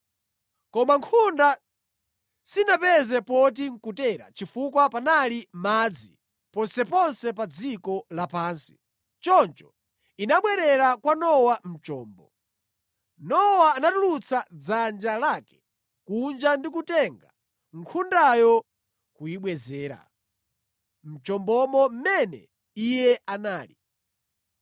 Koma nkhunda sinapeze poti nʼkutera chifukwa panali madzi ponseponse pa dziko lapansi. Choncho inabwerera kwa Nowa mʼchombo. Nowa anatulutsa dzanja lake kunja ndi kutenga nkhundayo kuyibwezera mʼchombo mmene iye anali.